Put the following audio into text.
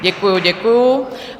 Děkuju, děkuju